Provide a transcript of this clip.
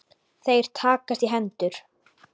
Þeir takast í hendur.